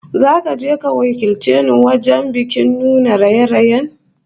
Zaka je ka wakilce ni wajen bikin nuna raye-rayen